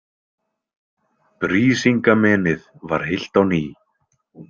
Brísingamenið var heilt á ný.